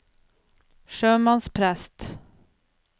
sjømannsprest